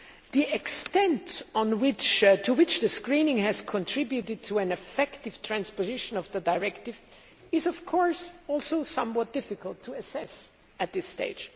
The extent to which the screening has contributed to an effective transposition of the directive is, of course, also somewhat difficult to assess at this stage.